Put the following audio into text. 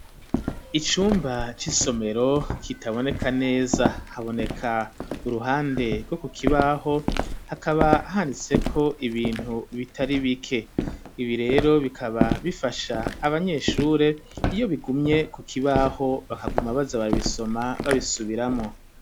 Icumba c'isomero kitaboneka neza, haboneka uruhande rwo ku kibaho, hakaba handitseko ibintu bitari bike; ibi rero bikaba bifasha abanyeshure, iyo bigumye ku kibaho, bakaguma baza barabisoma babisubiramwo.